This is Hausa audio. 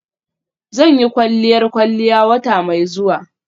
Zan yi kwalliyar kwalliya wata mai zuwa.